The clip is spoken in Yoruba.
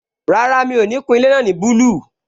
Rárá, mi ò ní kun ilé náà ní búlù